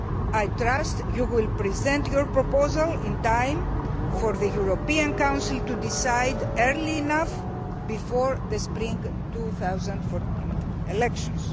I trust you will present your proposal in time for the European Council to decide early enough before the spring 2014 elections.